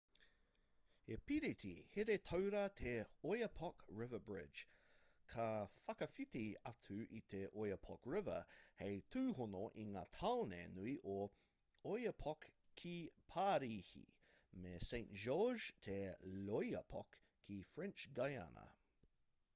he piriti here-taura te oyapock river bridge ka whakawhiti atu i te oyapock river hei tūhono i ngā tāone nui o oiapoque ki parīhi me saint-georges de l'oyapock ki french guiana